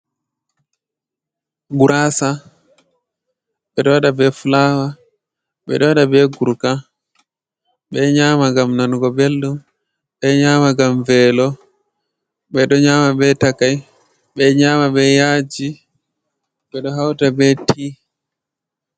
Guraasa, ɓe ɗo waɗa be fulaawa, ɓe ɗo waɗa be guruka, ɓe ɗo nyaama ngam nanugo belɗum, ɓe ɗo nyaama ngam veelo. Ɓe ɗo nyaama be takai, ɓe ɗo nyaama be yaaji, ɓe ɗo hauta be tii.